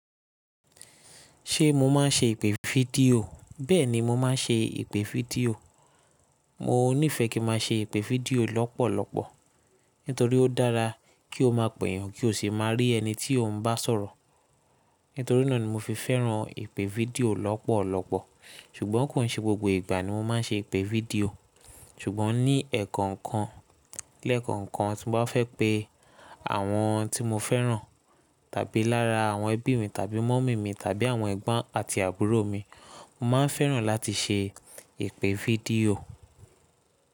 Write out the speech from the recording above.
Ṣé mo máa ń ṣe ìpè fídíò? Bẹ́ẹ̀ni, mo máa ń ṣe ìpè fídíò. Mo nífẹ̀ẹ́ kí n máa ṣe ìpè fídíò lọ́pọ̀lọpọ̀, nítorí ó dára kí o máa pèyàn kí o sì máa rí ẹni tí o ń bá sọ̀rọ̀. Nítorí náà ni mo fi fẹ́ràn ìpè fídíò lọ́pọ̀lọpọ̀. Ṣùgbọ́n kò n ṣe gbogbo ìgbà ni mo máa ń ṣe ìpè fídíò. Ṣùgbọ́n ní ẹ̀ẹ̀kan kan, lẹ́ẹ̀kan kan tí mo bá fẹ́ pé àwọn tí mo fẹ́ràn tàbí lára àwọn ẹbí mi tàbí mummy mi tàbí àwọn ẹ̀gbọ́n àti àbúrò mi, mo máa ń fẹ́ràn láti ṣe ìpè fídíò.